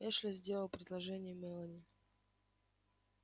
эшли сделал предложение мелани